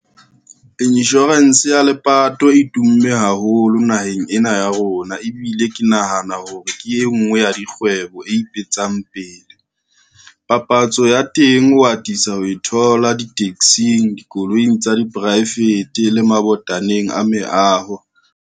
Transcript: Insurance ya lepato e tumme haholo naheng ena ya rona ebile ke nahana hore ke e ngwe ya dikgwebo e ipetsang pele. Papatso ya teng o atisa ho e thola di-taxi-ng, dikoloing tsa di poraefete le mabotaneng a meaho.